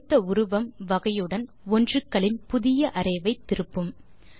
கொடுத்த உருவம் வகையுடன் ஒன்றுகளின் புதிய அரே ஐ திருப்பும்